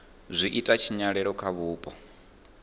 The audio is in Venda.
zwi ita tshinyalelo kha vhupo